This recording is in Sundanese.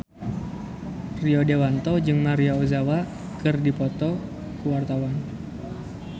Rio Dewanto jeung Maria Ozawa keur dipoto ku wartawan